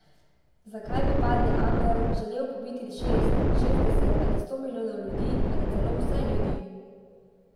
Zakaj bi padli angel želel pobiti šest, šestdeset ali sto milijonov ljudi ali celo vse ljudi?